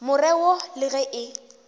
more wo le ge e